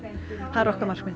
það er okkar markmið